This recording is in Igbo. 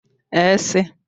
s